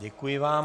Děkuji vám.